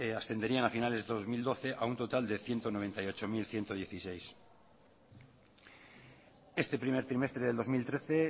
ascenderían a finales de dos mil doce a un total de ciento noventa y ocho mil ciento diecisiete este primer trimestre de dos mil trece